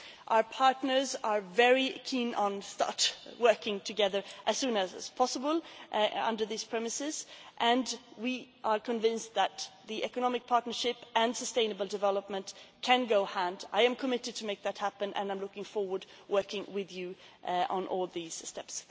this right. Our partners are very keen to start working together as soon as possible under these premises, and we are convinced that the economic partnership and sustainable development can go hand in hand. I am committed to make that happen and I am looking forward to working with you on all these steps.